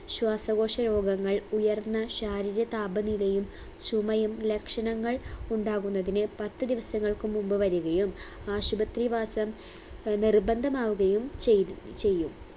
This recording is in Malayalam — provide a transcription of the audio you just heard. ശ്വാസകോശ രോഗങ്ങൾ ഉയർന്ന ശാരീരിക താപനിലയും ചുമയും ലക്ഷണങ്ങൾ ഉണ്ടാകുന്നതിന് പത്ത് ദിവസങ്ങൾക്ക് മുമ്പ് വരികയും ആശുപത്രി വാസം അഹ് നിർബന്ധമാവുകയും ചെയ്ത് ചെയ്യും